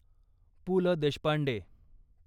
Pu La Deshpande